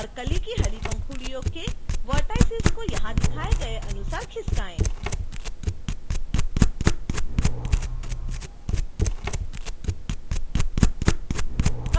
और कली की हरी पंखुड़ियों के vertices को यहां दिखाए गए अनुसार खिसकायें